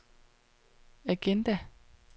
agenda